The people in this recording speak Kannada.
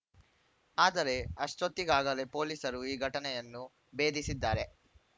ಆದರೆ ಅಷ್ಟೊತ್ತಿಗಾಗಲೇ ಪೊಲೀಸರು ಈ ಘಟನೆಯನ್ನು ಭೇದಿಸಿದ್ದಾರೆ